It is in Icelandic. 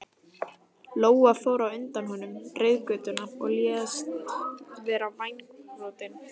Lóa fór á undan honum reiðgötuna og lést vera vængbrotin.